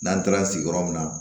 N'an taara sigiyɔrɔ min na